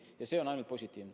Ja see on ainult positiivne.